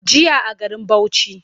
Jiya a garin Bauchi.